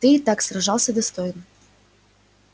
ты и так сражался достойно